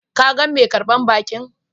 Ka gan mai karbar baki?